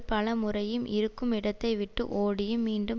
பலமுறையும் இருக்குமிடத்தைவிட்டு ஓடியும் மீண்டும்